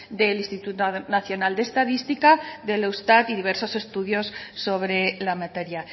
del instituto nacional de estadística del eustat y diversos estudios sobre la materia